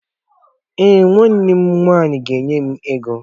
Èè, nwanne m nwanyị ga-enye m ego